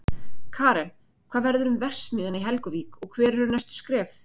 Karen, hvað verður um verksmiðjuna í Helguvík og hver eru næstu skref?